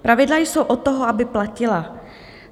Pravidla jsou od toho, aby platila.